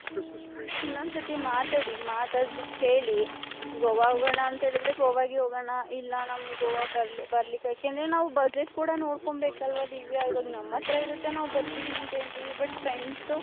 ಅದೇ ಇನೊಂದ್ ಸತಿ ಮಾತಡಿ ಮಾತಾಡ್ಬಟ್ಟ್ ಹೇಳಿ .ಗೋವ ಹೋಗಣ ಅಂತ ಹೇಳದ್ರೆ ಗೋವಾಗೆ ಹೋಗಣ ಇಲ್ಲ ನಮ್ಮಗೆ ಗೋವ ಯಾಕಂದ್ರೆ ನಾವು budget ಕೂಡ ನೋಡ್ಕೋಬೇಕು ಅಲ್ವ ದಿವ್ಯ ಇವಾಗ ನಮ್ಮ ಅತ್ರ ಇರುತ್ತೆ ನಾವ್ ಬರ್ತಿವಿ ಅಂತ ಹೇಳ್ತಿವಿ ಬುಟ್ friends .